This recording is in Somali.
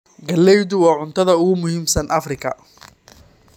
Galleydu waa cuntada ugu muhiimsan Afrika.